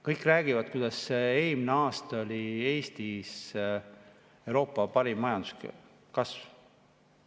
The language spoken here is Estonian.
Kõik räägivad, kuidas eelmisel aastal oli Eestis Euroopa parim majanduskasv.